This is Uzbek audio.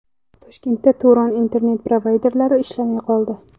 Toshkentda Turon internet-provayderi ishlamay qoldi.